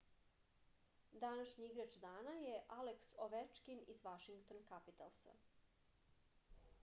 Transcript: današnji igrač dana je aleks ovečkin iz vašington kapitalsa